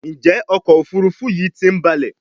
Njé ọkọ̀ òfurufú yi tí ń balè?